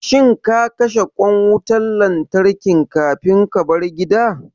Shin ka kashe ƙwan wutan lantarkin kafin kabar gida?